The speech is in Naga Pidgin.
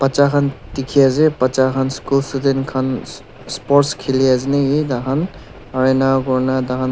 cha khan dikhi ase bacha khan school student khan sports khili ase naki takhan aro enakura na taha--